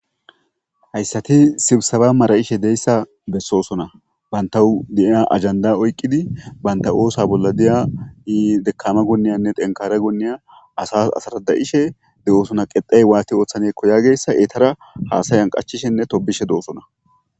hayssati sibsaba mara7ishe deyssa bessoosona bantahu di7iya ajanda oyqqidi banta oosa bolla diya iidekama goniyanne tenkara goonniya asas asarada7ishe de7oosona qexey waati ooththanekko yageyssa eetara haasayan qachishenne tobishe doosona